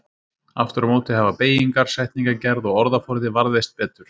Aftur á móti hafa beygingar, setningagerð og orðaforði varðveist betur.